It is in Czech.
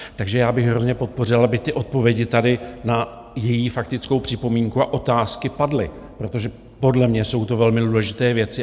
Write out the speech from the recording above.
Takže já bych hrozně podpořil, aby ty odpovědi tady na její faktickou připomínku a otázky padly, protože podle mě jsou to velmi důležité věci.